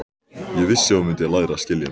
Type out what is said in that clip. Ég vissi að þú mundir læra að skilja mig.